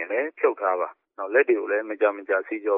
င်လည်း ဖြုတ်ထားသင့်ပါတယ်။ လက်ကိုလည်း မကြာမကြာ ဆေးကြော